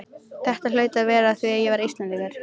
Þetta hlaut að vera af því að ég var Íslendingur.